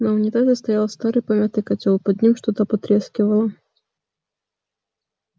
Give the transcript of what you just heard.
на унитазе стоял старый помятый котёл под ним что-то потрескивало